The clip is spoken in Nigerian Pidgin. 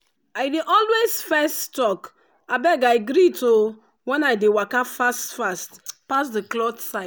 i dey always fess talk “abeg i greet o” when i dey waka fast fast pass the cloth side.